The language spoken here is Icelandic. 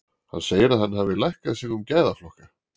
Hann segir að hann hafi lækkað sig um gæðaflokka.